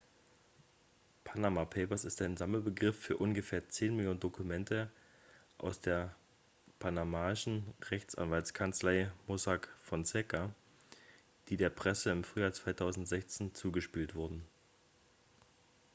"""panama papers" ist ein sammelbegriff für ungefähr zehn millionen dokumente aus der panamaischen rechtsanwaltskanzlei mossack fonseca die der presse im frühjahr 2016 zugespielt wurden.